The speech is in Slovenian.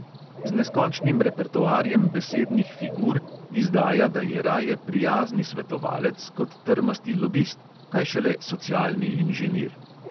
Z neskončnim repertoarjem besednih figur izdaja, da je raje prijazni svetovalec kot trmasti lobist, kaj šele socialni inženir.